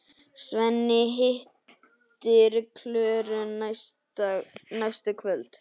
Svenni hittir Klöru næstu kvöld.